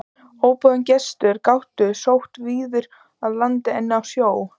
Óboðnir gestir gátu sótt víðar að landinu en á sjó.